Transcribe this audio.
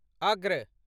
अग्र